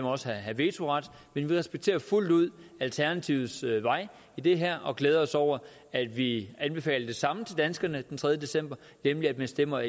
også have vetoret men vi respekterer fuldt ud alternativets vej i det her og glæder os over at vi anbefaler det samme til danskerne den tredje december nemlig at man stemmer